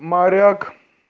моряк